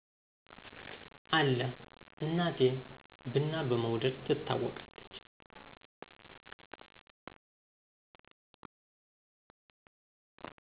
አለ እናቴ ብና በመውደድ ትታወቃለች።